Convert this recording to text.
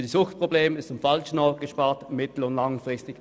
Bei Suchtproblemen ist am falschen Ort gespart, mittel- und langfristig.